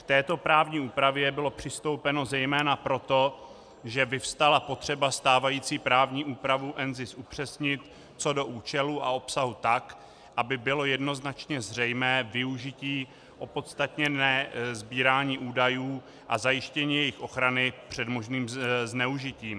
K této právní úpravě bylo přistoupeno zejména proto, že vyvstala potřeba stávající právní úpravu NZIS upřesnit co do účelu a obsahu tak, aby bylo jednoznačné zřejmé využití opodstatněné sbírání údajů a zajištění jejich ochrany před možným zneužitím.